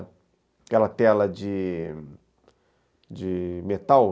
Aquela tela de de metal.